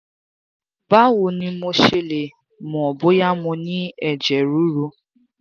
báwo ni mo ṣe lè mọ̀ bóyá mo ní ẹ̀jẹ̀ ruru?